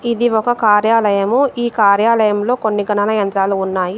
ఇది ఒక కార్యాలయము. ఈ కార్యాలయంలో కొన్ని గణన యంత్రాలు ఉన్నాయి.